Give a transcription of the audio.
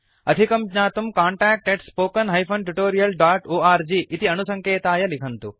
अधिकं ज्ञातुं contactspoken tutorialorg इति अणुसङ्केताय लिखन्तु